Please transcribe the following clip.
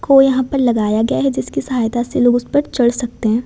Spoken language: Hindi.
को यहां पर लगाया गया है जिसकी सहायता से लोग उस पर चढ़ सकते हैं।